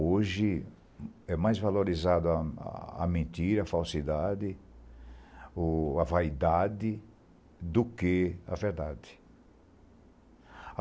Hoje é mais valorizada a a a mentira, a falsidade, o a vaidade do que a verdade.